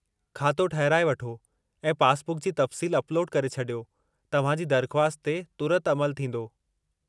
खातो ठहिराइ वठो ऐं पासबुक जी तफ़्सील अपलोडु करे छॾियो, तव्हां जी दरख़्वास्त ते तुरत अमलु थींदो।